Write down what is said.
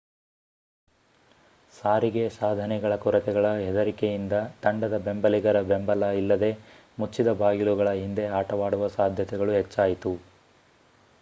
ಸಾರಿಗೆ ಸಾಧನೆಗಳ ಕೊರತೆಗಳ ಹೆದರಿಕೆಯಿಂದ ತಂಡದ ಬೆಂಬಲಿಗರ ಬೆಂಬಲ ಇಲ್ಲದೆ ಮುಚ್ಚಿದ ಬಾಗಿಲುಗಳ ಹಿಂದೆ ಆಟವಾಡುವ ಸಾಧ್ಯತೆಗಳು ಹೆಚ್ಚಾಯಿತು